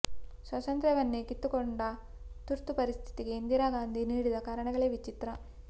ಸ್ವಾತಂತ್ರ್ಯವನ್ನೇ ಕಿತ್ತುಕೊಂಡ ತುರ್ತು ಪರಿಸ್ಥಿತಿಗೆ ಇಂದಿರಾ ಗಾಂಧಿ ನೀಡಿದ ಕಾರಣಗಳೇ ವಿಚಿತ್ರ